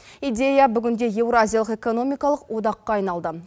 идея бүгінде еуразиялық экономикалық одаққа айналды